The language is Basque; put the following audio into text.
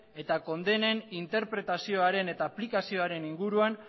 eta kondenen interpretazioaren eta aplikazioaren inguruan